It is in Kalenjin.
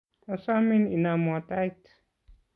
Asomin inomwo tait.